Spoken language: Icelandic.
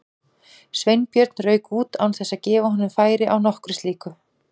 Sveinbjörn rauk út án þess að gefa honum færi á nokkru slíku.